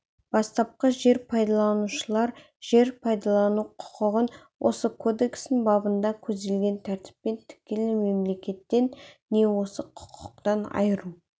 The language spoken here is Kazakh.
бастапқы жер пайдаланушылар жер пайдалану құқығын осы кодекстің бабында көзделген тәртіппен тікелей мемлекеттен не осы құқықтан айыру